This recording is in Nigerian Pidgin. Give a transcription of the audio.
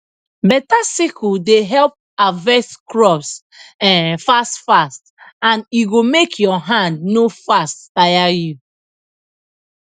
beta sickle dey help harvest crops um fast fast and e go make ur hand no fast tire you